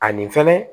Ani fɛnɛ